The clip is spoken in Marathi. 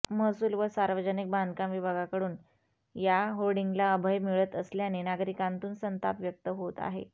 महसूल व सार्वजनिक बांधकाम विभागाकडून या होर्डींगला अभय मिळत असल्याने नागरिकांतून संताप व्यक्त होत आहे